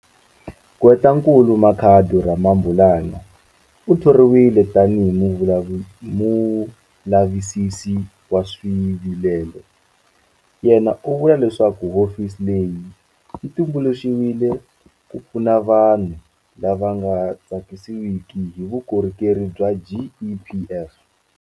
Gqwetankulu Makhado Ramabulana u thoriwile tanihi Mulavisisi wa Swivilelo. Yena u vula leswaku hofisi leyi yi tumbuluxeriwile ku pfuna vanhu lava nga tsakisiwiki hi vukorhokeri bya GEPF.